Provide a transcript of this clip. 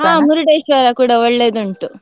ಹಾ Murdeshwar ಕೂಡ ಒಳ್ಳೆದುಂಟು.